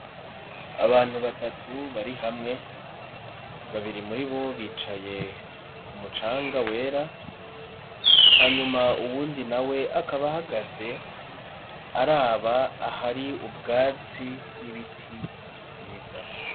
Abantu batatu bari hamwe, babiri muri bo bicaye ku mucanga wera, hanyuma uwundi na we akaba ahagaze araba ahari ubwatsi n'ibiti vyiza.